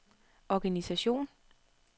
organisation